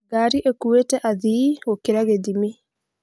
Ngari ĩkuĩte athii gũkĩra gĩthimi